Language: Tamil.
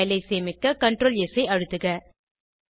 பைல் ஐ சேமிக்க ctrls ஐ அழுத்துக